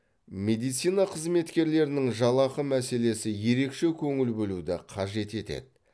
медицина қызметкерлерінің жалақы мәселесі ерекше көңіл бөлуді қажет етеді